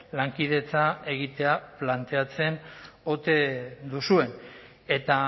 lankidetza egitea planteatzen ote duzuen eta